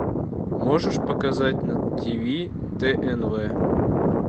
можешь показать на тв тнв